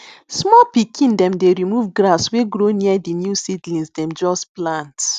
small pikin dem dey remove grass wey grow near di new seedlings dem just plant